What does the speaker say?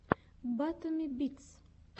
батуми битс